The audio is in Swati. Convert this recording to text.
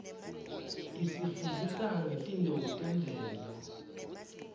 isifundzisa ngetintfo temvelo